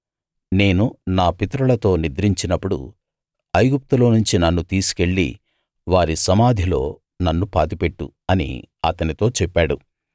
నేను నా పితరులతో నిద్రించినప్పుడు ఐగుప్తులో నుంచి నన్ను తీసుకెళ్ళి వారి సమాధిలో నన్ను పాతిపెట్టు అని అతనితో చెప్పాడు